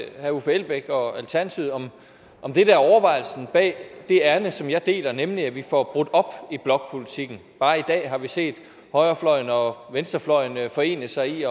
herre uffe elbæk og alternativet om det der er overvejelsen bag det ærinde som jeg deler nemlig at vi får brudt op i blokpolitikken bare i dag har vi set højrefløjen og venstrefløjen forene sig i